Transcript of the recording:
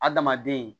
Adamaden